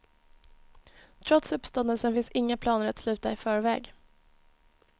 Trots uppståndelsen finns inga planer att sluta i förväg.